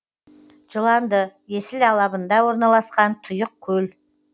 жыланды есіл алабында орналасқан тұйық көл